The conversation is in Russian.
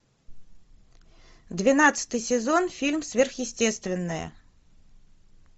двенадцатый сезон фильм сверхъестественное